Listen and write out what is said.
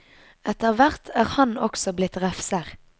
Etter hvert er han også blitt refser.